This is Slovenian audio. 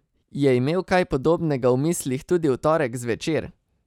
Je imel kaj podobnega v mislih tudi v torek zvečer?